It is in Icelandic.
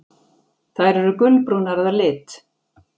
Þær eru gulbrúnar að lit.